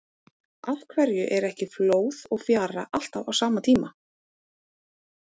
Af hverju er ekki flóð og fjara alltaf á sama tíma?